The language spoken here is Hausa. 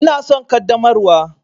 Ina son ƙaddamarwa.